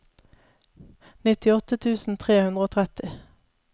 nittiåtte tusen tre hundre og tretti